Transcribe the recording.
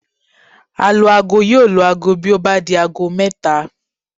Alu-aago yóò lu aago bí ó bá di aago mẹ́ta